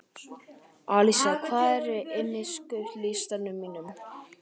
Alísa, hvað er á innkaupalistanum mínum?